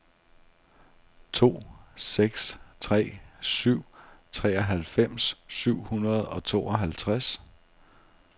to seks tre syv treoghalvfems syv hundrede og tooghalvtreds